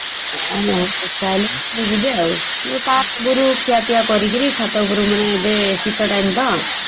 ଦଶଟା ବାଜିଲେ ଯିବେ ଆଉ ସିଏ ତା ଆଗରୁ ଖିଆ ପିଇଆ କରିକିରି ଛାତ ଉପରେ ମାନେ ଏବେ ଶୀତ time ତ ।